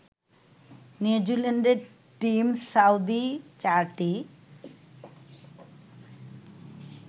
নিউজিল্যান্ডের Tim Southee চারটি